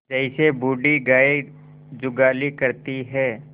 जैसे बूढ़ी गाय जुगाली करती है